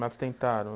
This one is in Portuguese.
Mas tentaram?